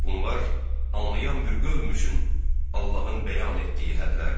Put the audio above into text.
Bunlar anlayan bir qövm üçün Allahın bəyan etdiyi hədlərdir.